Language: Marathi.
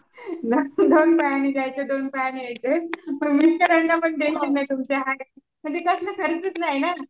दोन पायाने जायचं दोन पायाने यायचं तुमच्या म्हणजे कसलं खर्चचं नाही ना.